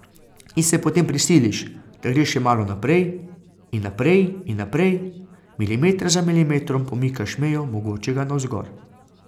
In se potem prisiliš, da greš še malo naprej in naprej in naprej, milimeter za milimetrom pomikaš mejo mogočega navzgor.